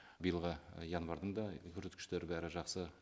биылғы январьдың да көрсеткіштері бәрі жақсы